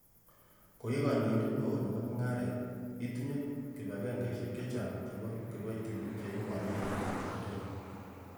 Ko i kondoindet neo nebo mung'aret, itinye kibag'engeisiek chechang chebo kiboitinik che imong'un ko i kondoindet nywan.